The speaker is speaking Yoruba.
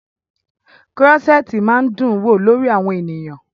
Krọ́ṣẹ̀tì máa ń dún wò lórí àwọn ènìyàn.